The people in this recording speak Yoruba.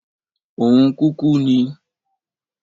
Òun kúkú ni.